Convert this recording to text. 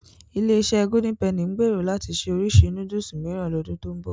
Ilé-iṣẹ́ Golden Penny ń gbèrò láti ṣe oríṣi núdùsù mìíràn lọ́dún tó ń bọ̀.